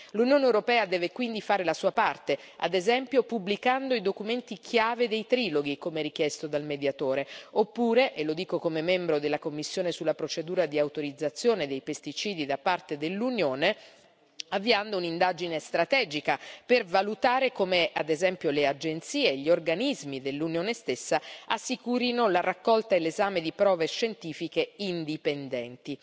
L'Unione europea deve quindi fare la sua parte, ad esempio pubblicando i documenti chiave dei triloghi, come richiesto dal Mediatore, oppure, e lo dico come membro della commissione sulla procedura di autorizzazione dei pesticidi da parte dell'Unione, avviando un'indagine strategica per valutare come, ad esempio, le agenzie e gli organismi dell'Unione stessa assicurino la raccolta e l'esame di prove scientifiche indipendenti.